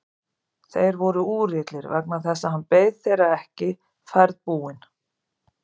Þeir voru úrillir vegna þess að hann beið þeirra ekki ferðbúinn.